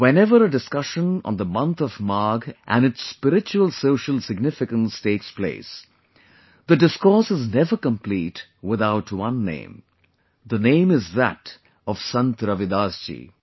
whenever a discussion on the month of Magh and its spiritualsocial significance takes place, the discourse is never complete without one name the name is that of Sant Ravidas ji